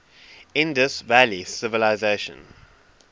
indus valley civilization